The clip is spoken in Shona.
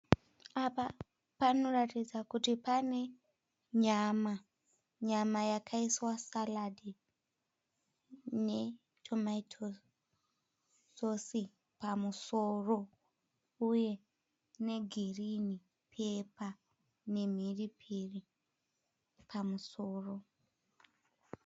Apa panoratidza kuti pane nyama. Nyama yakaiswa karinga netomato sosi pamusoro uye negirinhi pepa pamusoro nemhiripiri.